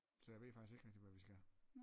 Så jeg ved faktisk ikke rigtig hvad vi skal